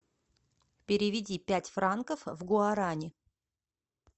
переведи пять франков в гуарани